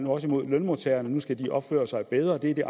også imod lønmodtagerne nu skal opføre sig bedre det er det